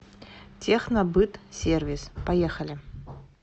технобытсервис поехали